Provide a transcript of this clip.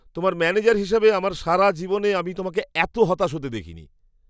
তোমার ম্যানেজার হিসেবে আমার সারা জীবনে আমি তোমাকে এত হতাশ হতে দেখিনি।